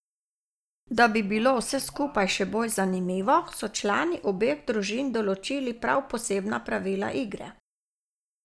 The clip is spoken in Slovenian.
Da bi bilo vse skupaj še bolj zanimivo, so člani obeh družin določili prav posebna pravila igre.